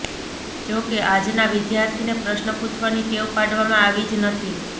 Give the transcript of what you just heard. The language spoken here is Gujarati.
જો કે આજના વિદ્યાર્થીને પ્રશ્ન પૂછવાની ટેવ પાડવામાં આવી જ નથી